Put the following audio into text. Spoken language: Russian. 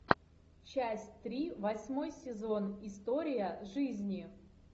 часть три восьмой сезон история жизни